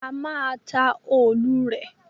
A má a ta òòlù rè.